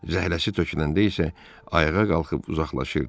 Zəhləsi töküləndə isə ayağa qalxıb uzaqlaşırdı.